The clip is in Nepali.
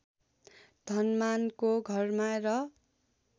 धनमानको घरमा र